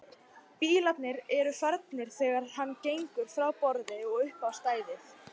Bílarnir eru farnir þegar hann gengur frá borði og upp á stæðið.